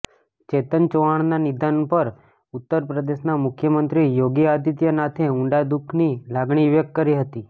ચેતન ચૌહાણના નિધન પર ઉત્તર પ્રદેશના મુખ્યમંત્રી યોગી આદિત્યનાથે ઊંડા દુઃખની લાગણી વ્યક્ત કરી હતી